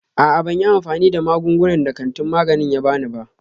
A'a, ban yi amfani da magungunan da kantin magani ya ba ni ba.